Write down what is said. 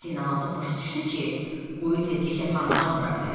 Zeynalabddin başa düşdü ki, quyu tezliklə fontan vura bilər.